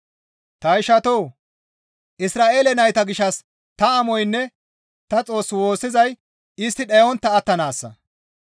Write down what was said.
Ta ishatoo! Isra7eele nayta gishshas ta amoynne ta Xoos woossizay istti dhayontta attanaassa.